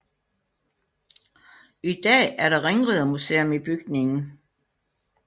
I dag er der ringridermuseum i bygningen